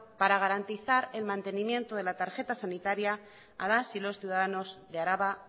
para garantizar el mantenimiento de la tarjeta sanitaria a las y los ciudadanos de araba